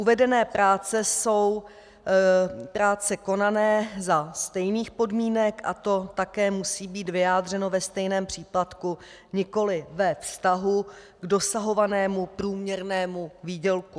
Uvedené práce jsou práce konané za stejných podmínek a to také musí být vyjádřeno ve stejném příplatku, nikoli ve vztahu k dosahovanému průměrnému výdělku.